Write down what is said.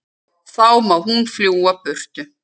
Þá má hún fljúga burtu.